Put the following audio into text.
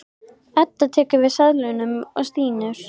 Edda tekur við seðlunum og stynur.